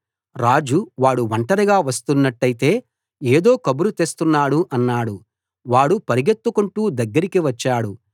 రాజు వాడు ఒంటరిగా వస్తున్నట్టైతే ఏదో కబురు తెస్తున్నాడు అన్నాడు వాడు పరుగెత్తుకొంటూ దగ్గరికి వచ్చాడు